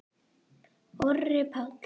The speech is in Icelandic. Orri Páll.